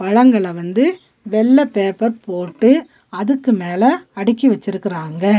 பழங்கள வந்து வெள்ள பேப்பர் போட்டு அதுக்கு மேல அடுக்கி வெச்சிருக்கிறாங்க.